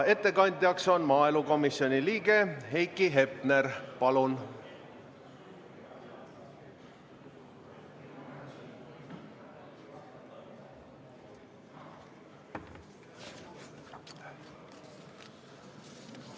Ettekandja maaelukomisjoni liige Heiki Hepner, palun!